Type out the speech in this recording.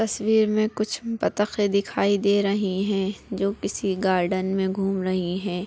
तस्वीर मे कूछ बतखें दिखाई दे रहे है जो किसी गार्डन में घूम रही है।